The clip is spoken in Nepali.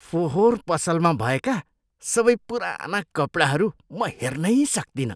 फोहोर पसलमा भएका सबै पुराना कपडाहरू म हेर्नै सक्तिनँ।